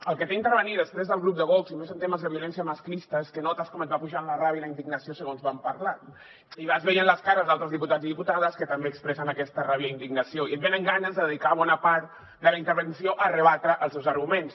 el que té intervenir després del grup de vox i més en temes de violència masclista és que notes com et va pujant la ràbia i la indignació segons van parlant i vas veient les cares d’altres diputats i diputades que també expressen aquesta ràbia i indignació i et venen ganes de dedicar bona part de la intervenció a rebatre els seus arguments